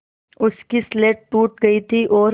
उसकी स्लेट टूट गई थी और